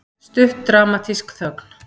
Stutt dramatísk þögn.